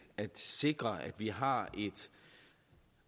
at sikre at vi har et